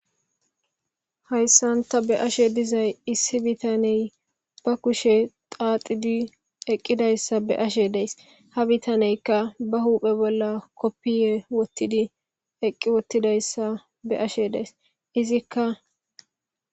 hayssanta be'ashe dizay issi bitaney ba kushe xaaxidi eqqidayssa be ashe dees ha bitaneykka ba huuphe bolla koppiye wottidi eqqi wottidayssa be ashe dees izikka